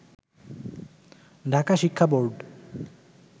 ঢাকা শিক্ষা বোর্ড